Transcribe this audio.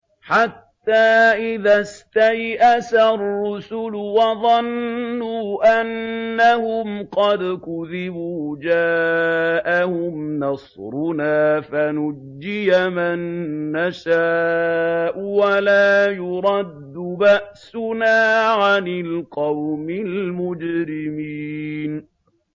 حَتَّىٰ إِذَا اسْتَيْأَسَ الرُّسُلُ وَظَنُّوا أَنَّهُمْ قَدْ كُذِبُوا جَاءَهُمْ نَصْرُنَا فَنُجِّيَ مَن نَّشَاءُ ۖ وَلَا يُرَدُّ بَأْسُنَا عَنِ الْقَوْمِ الْمُجْرِمِينَ